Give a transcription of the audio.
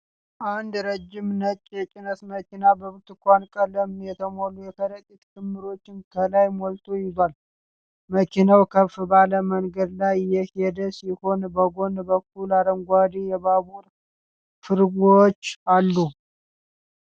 አንድ ረጅም ነጭ የጭነት መኪና በብርቱካን ቀለም የተሞሉ የከረጢት ክምሮች ከላይ ሞልቶ ይዟል። መኪናው ከፍ ባለ መንገድ ላይ እየሄደ ሲሆን፣ በጎን በኩል አረንጓዴ የባቡር ፉርጎዎች አሉ።